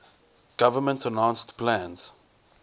government announced plans